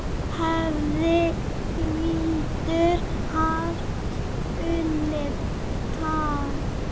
hefði hvítur haft unnið tafl.